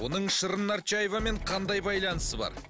оның шырын нарчаевамен қандай байланысы бар